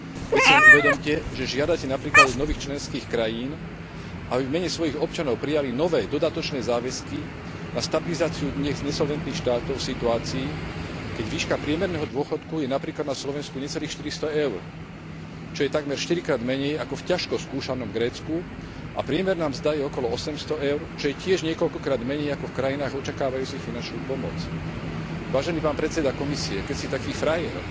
Veď si len uvedomte, že žiadate napríklad od nových členských krajín, aby v mene svojich občanov prijali nové dodatočné záväzky na stabilizáciu dnes nesolventných štátov v situácii, keď výška priemerného dôchodku je napríklad na Slovensku necelých 400 EUR, čo je takmer štyrikrát menej ako v ťažko skúšanom Grécku, a priemerná mzda je okolo 800 EUR, čo je tiež niekoľkokrát menej ako v krajinách očakávajúcich finančnú pomoc. Vážený pán predseda Komisie, keď ste taký frajer,